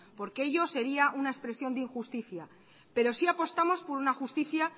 porque ello sería una expresión de injusticia pero sí apostamos por una justicia